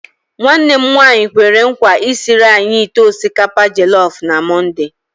Nwanne m nwanyi kwere nkwa isiri anyị ite osikapa jelọf na mọnde.